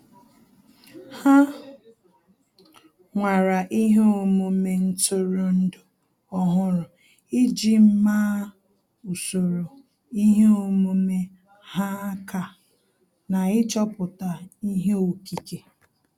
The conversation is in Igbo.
Há nwàrà ihe omume ntụrụndụ ọ́hụ́rụ́ iji màá usoro ihe omume ha aka na ịchọ̀pụ́tá ihe okike.